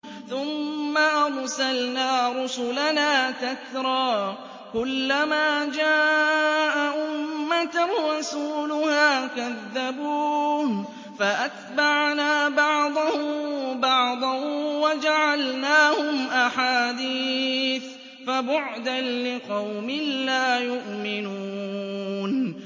ثُمَّ أَرْسَلْنَا رُسُلَنَا تَتْرَىٰ ۖ كُلَّ مَا جَاءَ أُمَّةً رَّسُولُهَا كَذَّبُوهُ ۚ فَأَتْبَعْنَا بَعْضَهُم بَعْضًا وَجَعَلْنَاهُمْ أَحَادِيثَ ۚ فَبُعْدًا لِّقَوْمٍ لَّا يُؤْمِنُونَ